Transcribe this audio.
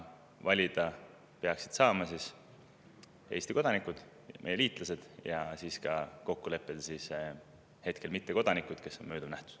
Valida peaksid saama Eesti kodanikud ja meie liitlas ning kokkuleppel saavad hetkel valida ka mittekodanikud, kes on mööduv nähtus.